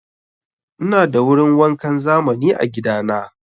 Ina da wurin wankan zamani a gida na.